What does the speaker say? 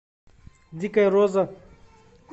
дикая роза